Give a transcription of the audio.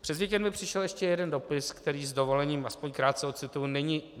Přes víkend mi přišel ještě jeden dopis, který s dovolením aspoň krátce ocituji.